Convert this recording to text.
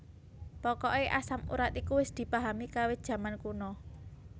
Pokoke asam urat iku wis dipahami kawit jaman kuna